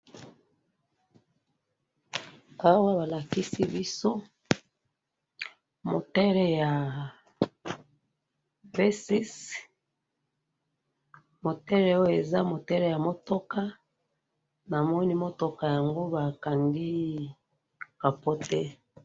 awa balikisi biso moteur ya v6 moteur oyo eza moteur ya motoka namoni moteur yango bakangi a coter